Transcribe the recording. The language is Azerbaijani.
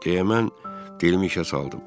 Deyəmən dilimi işə saldım.